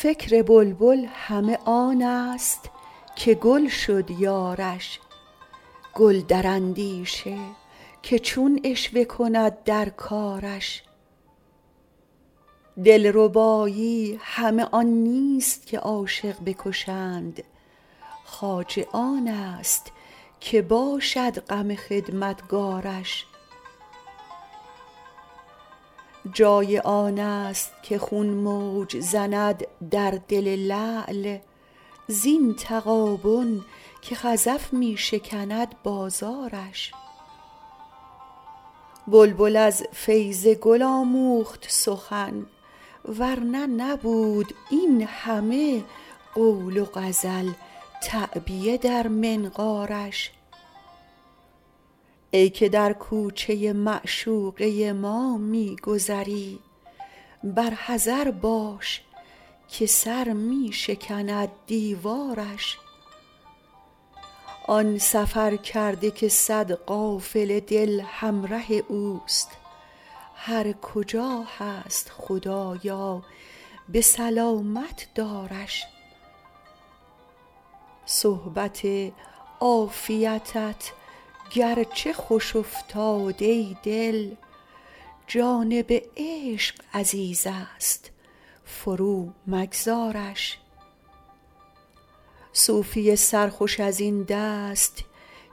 فکر بلبل همه آن است که گل شد یارش گل در اندیشه که چون عشوه کند در کارش دلربایی همه آن نیست که عاشق بکشند خواجه آن است که باشد غم خدمتکارش جای آن است که خون موج زند در دل لعل زین تغابن که خزف می شکند بازارش بلبل از فیض گل آموخت سخن ور نه نبود این همه قول و غزل تعبیه در منقارش ای که در کوچه معشوقه ما می گذری بر حذر باش که سر می شکند دیوارش آن سفرکرده که صد قافله دل همره اوست هر کجا هست خدایا به سلامت دارش صحبت عافیتت گرچه خوش افتاد ای دل جانب عشق عزیز است فرومگذارش صوفی سرخوش از این دست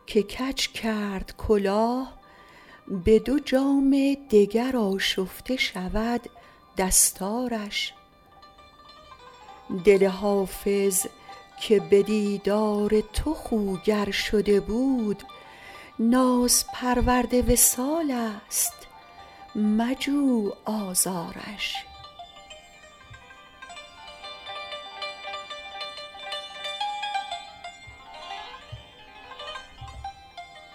که کج کرد کلاه به دو جام دگر آشفته شود دستارش دل حافظ که به دیدار تو خوگر شده بود نازپرورد وصال است مجو آزارش